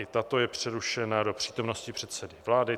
I tato je přerušena do přítomnosti předsedy vlády.